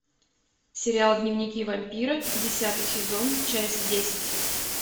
сериал дневники вампира десятый сезон часть десять